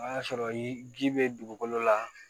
O y'a sɔrɔ ji bɛ dugukolo la